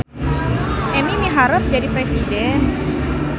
Emi miharep jadi presiden